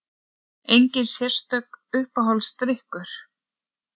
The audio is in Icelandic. Engin sérstök Uppáhaldsdrykkur?